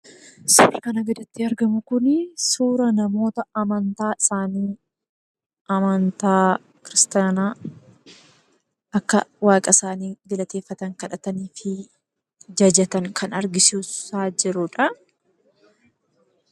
Suurri kanaa gaditti argamu kun suuraa namoota amantaan isaanii amantaa Kiristaanaa akka Waaqa isaaniitti galateeffatan, kadhatanii fi jajatan kan agarsiisaa jiruudha.